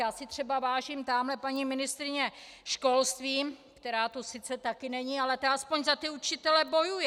Já si třeba vážím tamhle paní ministryně školství, která tu sice taky není, ale ta aspoň za ty učitele bojuje.